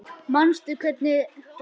Manstu hvernig var hjá mér?